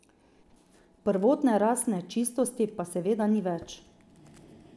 Prvotne rasne čistosti pa seveda ni več.